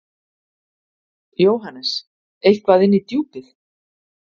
JÓHANNES: Eitthvað inn í Djúpið.